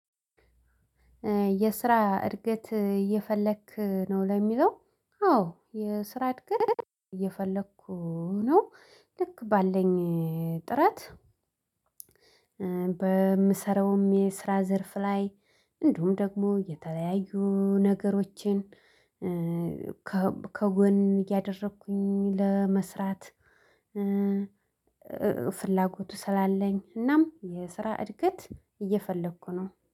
የስራ እድገት እየፈለክ ነው ለሚለው? አዎ የስራ እድገት እየፈለኩ ነው ልክ ባለኝ ጥረት። በምሰራውም የስራ ዘርፍ ላይ እንዲሁም ደግሞ የተለያዩ ነገሮችን። ከጎን እያደረኩኝ ለመስራት። ፍላጎቱ ስላለኝ እናም የስራ እድገት እየፈለኩ ነው